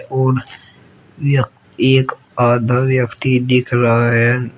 और एक आधा व्यक्ति दिख रहा है।